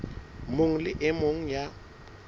mong le e mong ya